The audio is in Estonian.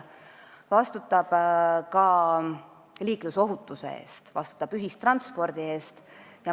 Ta vastutab ka liiklusohutuse ja ühistranspordi eest.